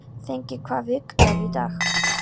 Þengill, hvaða vikudagur er í dag?